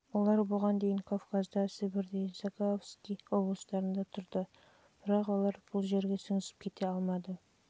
олар бұған дейін кавказда сібірде закаспий облыстарында тұрды бірақ олар ол жерге сіңісіп кете алмай бұған